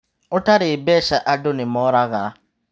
Ũtarĩ mbeca andũ nĩmoraga.